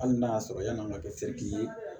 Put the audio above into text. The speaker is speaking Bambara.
Hali n'a y'a sɔrɔ yan'a ka kɛ se k'i ye